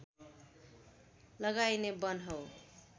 लगाइने वन हो